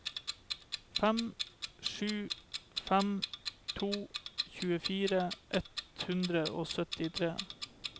fem sju fem to tjuefire ett hundre og syttitre